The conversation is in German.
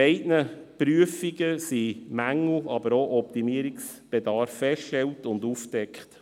In beiden Prüfungen wurden Mängel und auch Optimierungsbedarf festgestellt und aufgedeckt.